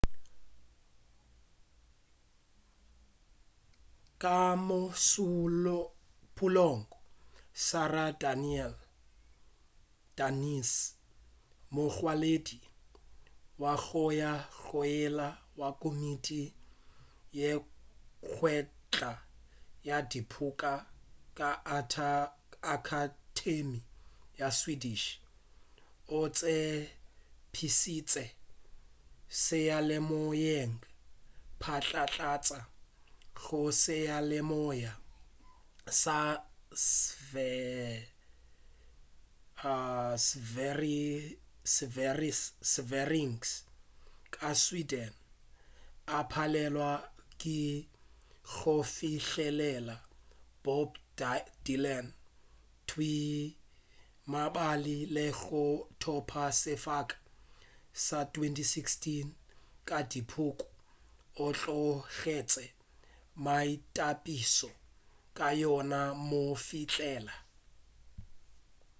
ka mošupulogo sara danius mongwaledi wa goya goile wa komiti ye kgethwa ya dipuku ka akhatemi ya swedish o tsebišitše seyalemoyeng phatlatlatša go seyalemoya sa sveriges ka sweden a palelwa ke go fihlelela bob dylan thwii mabapi le go thopa sefoka sa 2016 ka dipuku o tlogetše maitapišo a yona go mo fihlelela